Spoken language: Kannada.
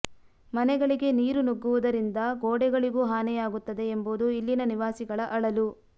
ಮನೆಗಳಿಗೆ ನೀರು ನುಗ್ಗುವುದರಿಂದ ಗೋಡೆಗಳಿಗೂ ಹಾನಿಯಾಗುತ್ತದೆ ಎಂಬುದು ಇಲ್ಲಿನ ನಿವಾಸಿಗಳ ಅಳಲು